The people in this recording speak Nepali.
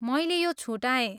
मैले यो छुटाएँ।